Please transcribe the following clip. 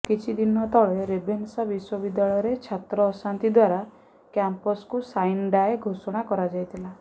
କିଛି ଦିନ ତଳେ ରେଭେନ୍ସା ବିଶ୍ୱବିଦ୍ୟାଳୟରେ ଛାତ୍ର ଅଶାନ୍ତି ଦ୍ୱାରା କ୍ୟାମ୍ପସକୁ ସାଇନ୍ ଡାଏ ଘୋଷଣା କରାଯାଇଥିଲା